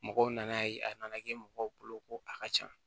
Mɔgɔw nana ye a nana kɛ mɔgɔw bolo ko a ka ca